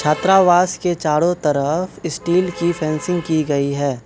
त्रावास के चारों तरफ स्टील की फेंसिंग की गई है।